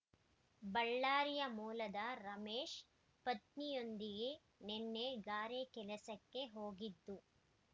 ಬಳ್ಳಾರಿ ಮೂಲದ ರಮೇಶ್ ಪತ್ನಿಯೊಂದಿಗೆ ನಿನ್ನೆ ಗಾರೆ ಕೆಲಸಕ್ಕೆ ಹೋಗಿದ್ದು